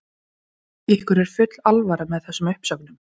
Hjörtur Hjartarson: Ykkur er full alvara með þessum uppsögnum?